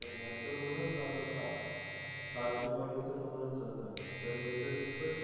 करणार तर हूनच जाणार सात सात recording तर हूनच जाणार पण हे तर खुपच